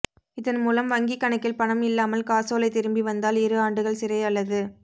இதன்மூலம் வங்கி கணக்கில் பணம் இல்லாமல் காசோலை திரும்பி வந்தால் இரு ஆண்டுகள் சிறை அல்லது